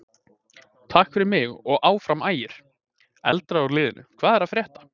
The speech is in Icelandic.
Takk fyrir mig og Áfram Ægir.Eldra úr liðnum Hvað er að frétta?